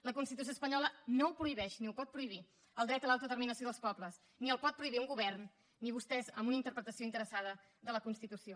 la constitució espanyola no ho prohibeix ni ho pot prohibir el dret a l’autodeterminació dels pobles ni el pot prohibir un govern ni vostès amb una interpretació interessada de la constitució